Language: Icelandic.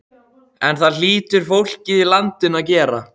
En það hlýtur fólkið í landinu að gera.